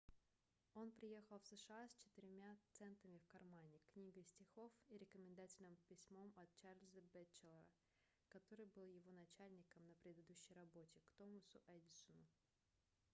он приехал в сша с четырьмя центами в кармане книгой стихов и рекомендательным письмом от чарльза бэтчелора который был его начальником на предыдущей работе к томасу эдисону